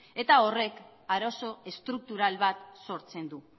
eta horrek arazo estruktural bat sortzen du